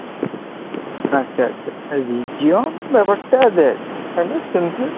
আচ্ছা আচ্ছা, Region ব্যপারটা দেখ, hello simple